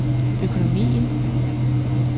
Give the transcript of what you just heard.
økonomien